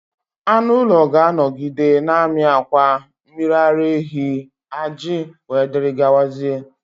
Anụ ụlọ ga-anọgide na-amị akwa, mmiri ara ehi, ajị wdg